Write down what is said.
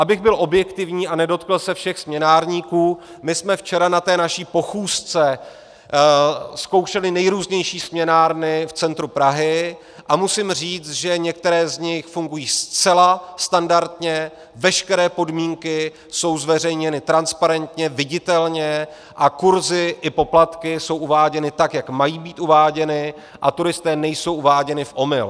Abych byl objektivní a nedotkl se všech směnárníků, my jsme včera na té naší pochůzce zkoušeli nejrůznější směnárny v centru Prahy a musím říct, že některé z nich fungují zcela standardně, veškeré podmínky jsou zveřejněny transparentně, viditelně a kurzy i poplatky jsou uváděny tak, jak mají být uváděny, a turisté nejsou uváděni v omyl.